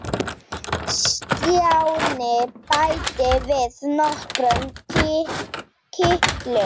Stjáni bætti við nokkrum kitlum.